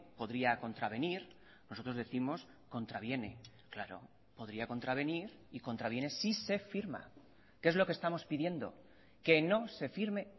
podría contravenir nosotros décimos contraviene claro podría contravenir y contraviene si se firma que es lo que estamos pidiendo que no se firme